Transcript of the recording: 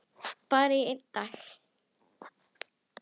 Bara í einn dag.